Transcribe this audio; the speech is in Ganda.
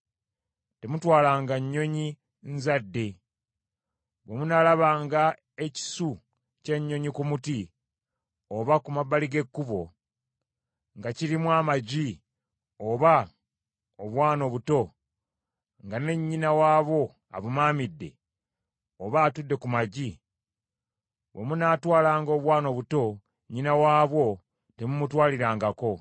Temutwalanga Nnyonyi Nzadde. Bwe munaalabanga ekisu ky’ennyonyi ku muti, oba ku mabbali g’ekkubo, nga kirimu amagi oba obwana obuto, nga ne nnyina waabwo abumaamidde, oba atudde ku magi, bwe munaatwalanga obwana obuto, nnyina waabwo temumutwalirangako.